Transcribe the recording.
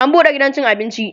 an buɗe gidan cin abinci